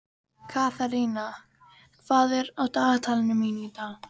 Katharina, hvað er á dagatalinu mínu í dag?